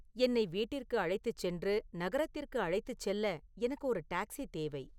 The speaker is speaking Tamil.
என்னை வீட்டிற்கு அழைத்துச் சென்று நகரத்திற்கு அழைத்துச் செல்ல எனக்கு ஒரு டாக்ஸி தேவை